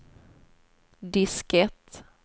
diskett